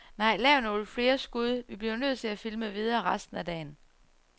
Nej, lav nogle flere skud, vi bliver nødt til at filme videre resten af dagen.